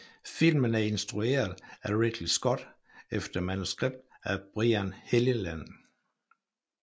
Filmen er instrueret af Ridley Scott efter manuskript af Brian Helgeland